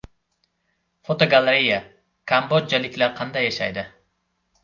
Fotogalereya: Kambodjaliklar qanday yashaydi?.